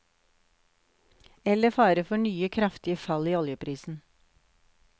Eller fare for nye kraftige fall i oljeprisen.